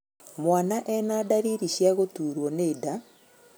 Mwana ena ndariri cia gũturwo nĩ nda